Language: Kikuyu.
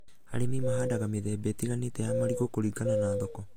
Arĩmi mahandaga mĩthemba ĩtĩganĩte ya marigũ kũringana na thoko